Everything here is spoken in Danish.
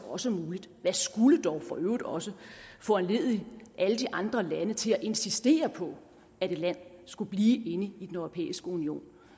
også muligt hvad skulle dog for øvrigt også foranledige alle de andre lande til at insistere på at et land skulle blive inde i den europæiske union